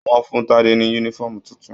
Wọ́n fún Tade ní yúnífọ̀ọ́mù títún.